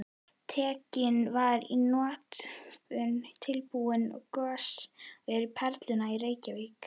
Tekinn var í notkun tilbúinn goshver við Perluna í Reykjavík.